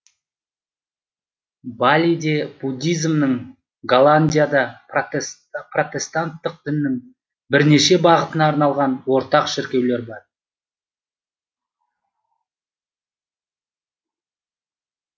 балиде буддизмнің голландияда протестанттық діннің бірнеше бағытына арналған ортақ шіркеулер бар